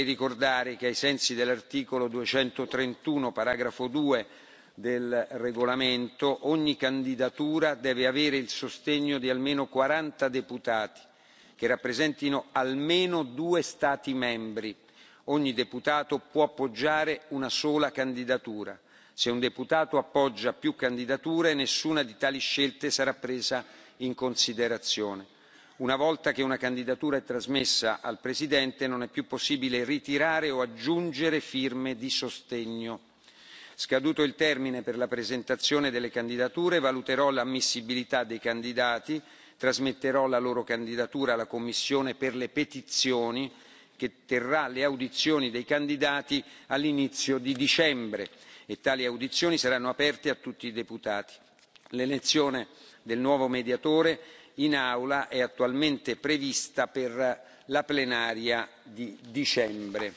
Vorrei ricordare che, ai sensi dell'articolo 231, paragrafo 2, del regolamento, ogni candidatura deve avere il sostegno di almeno quaranta deputati che rappresentino almeno due Stati membri. Ogni deputato può appoggiare una sola candidatura. Se un deputato appoggia più candidature, nessuna di tali scelte sarà presa in considerazione. Una volta che una candidatura è trasmessa al Presidente, non è più possibile ritirare o aggiungere firme di sostegno. Scaduto il termine per la presentazione delle candidature valuterò l'ammissibilità dei candidati e trasmetterò la loro candidatura alla commissione per le petizioni, che terrà le audizioni dei candidati all'inizio di dicembre. Tali audizioni saranno aperte a tutti i deputati. L'elezione del nuovo Mediatore in Aula è attualmente prevista per la plenaria di dicembre